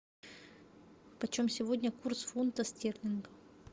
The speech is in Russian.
почем сегодня курс фунта стерлинга